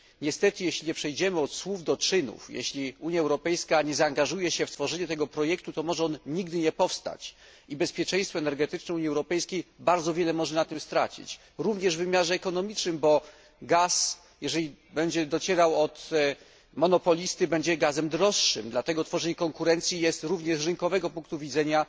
Niestety, jeśli nie przejdziemy od słów do czynów, jeśli Unia Europejska nie zaangażuje się w tworzenie tego projektu, to może on nigdy nie powstać i bezpieczeństwo energetyczne Unii Europejskiej bardzo może na tym stracić, również w wymiarze ekonomicznym, gdyż gaz, jeżeli będzie docierał od monopolisty, będzie gazem droższym, dlatego tworzenie konkurencji jest uzasadnione również z rynkowego punktu widzenia.